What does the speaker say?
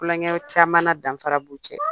Klonkɛw caman na danfarabu cɛ